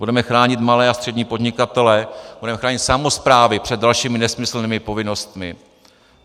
Budeme chránit malé a střední podnikatele, budeme chránit samosprávy před dalšími nesmyslnými povinnostmi.